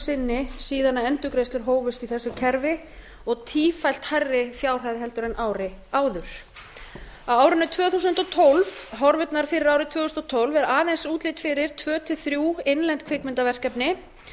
sinni síðan endurgreiðslur hófust í þessu kerfi og tífalt hærri fjárhæð heldur en árið áður horfurnar fyrir árið tvö þúsund og tólf er aðeins útlit fyrir að tvö til þrjú innlend kvikmyndaverkefni